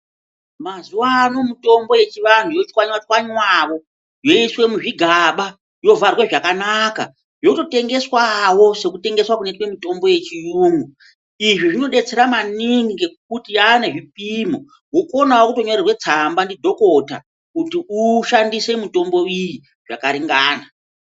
Mazuvaano mitombo yechivanhu yotswanywa tswanywawo yoiswe muzvigaba yovharwe zvakanaka yototengeswa wo sekutengeswa kunoitwe mutombo yechiyungu izvi zvinodetsera maningi ngekuti yane zvipimo. Wokonawo kutonyorerwa tsamba ndidhokota kuti ukone kushandisa mitombo iyi zvakaringana.